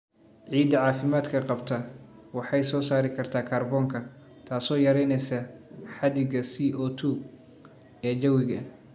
Ciidda caafimaadka qabta waxay soo saari kartaa kaarboonka, taasoo yaraynaysa xadiga CO2 ee jawiga.